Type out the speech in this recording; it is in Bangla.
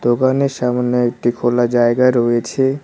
দোকানের সামনে একটি খোলা জায়গা রয়েছে।